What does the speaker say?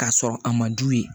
K'a sɔrɔ a ma du ye